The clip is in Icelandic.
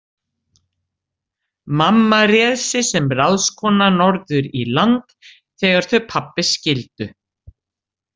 Mamma réð sig sem ráðskona norður í land þegar þau pabbi skildu.